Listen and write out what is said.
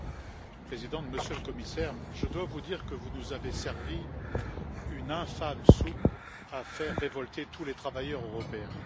Madame la Présidente, Monsieur le Commissaire, je dois vous dire que vous nous avez servi une infâme soupe à faire se révolter tous les travailleurs européens.